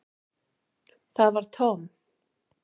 Það var Tom.